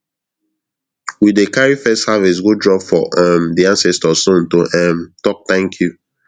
we dey carry first harvest go drop for um di ancestor stone to um talk thank you